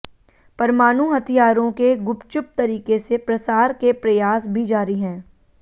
परमाणु हथियारों के गुपचुप तरीके से प्रसार के प्रयास भी जारी हैं